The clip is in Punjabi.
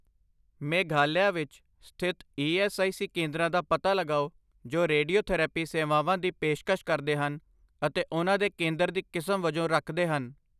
ਮੇਘਾਲਿਆ ਵਿੱਚ ਸਥਿਤ ਈ ਐੱਸ ਆਈ ਸੀ ਕੇਂਦਰਾਂ ਦਾ ਪਤਾ ਲਗਾਓ ਜੋ ਰੇਡੀਓਥੈਰੇਪੀ ਸੇਵਾਵਾਂ ਦੀ ਪੇਸ਼ਕਸ਼ ਕਰਦੇ ਹਨ ਅਤੇ ਉਹਨਾਂ ਦੇ ਕੇਂਦਰ ਦੀ ਕਿਸਮ ਵਜੋਂ ਰੱਖਦੇ ਹਨ।